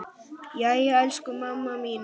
Jæja, elsku mamma mín.